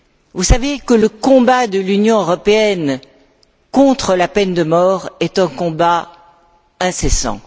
Vous savez que le combat de l'Union européenne contre la peine de mort est un combat incessant.